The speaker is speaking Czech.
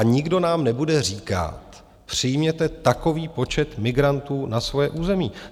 A nikdo nám nebude říkat, přijměte takový počet migrantů na svoje území.